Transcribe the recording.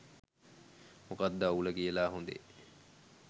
මොකද්ද අවුල කියලා හොඳේ?